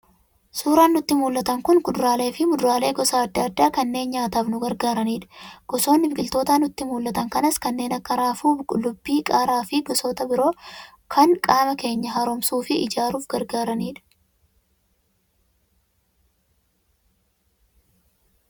Suuraan nutti mul'atan kun kuduraalee fi muduraalee gosa adda addaa kanneen nyaataaf nu gargaaranidha. Gosoonni biqiltoota nutti mul'atan kanaas kanneen akka; raafuu, qullubbii, qaaraa fi gosoota biroo kan qaama keenya haaromsuu fi ijaaruuf gargaaranidha.